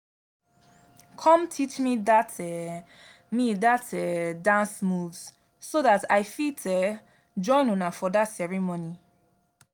come teach me dat um me dat um dance moves so dat i fit um join una for dat ceremony